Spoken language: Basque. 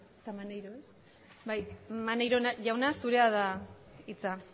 maneiro jauna zurea da hitza